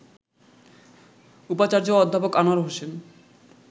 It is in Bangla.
উপাচার্য অধ্যাপক আনোয়ার হোসেন